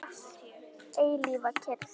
Eilífa kyrrð.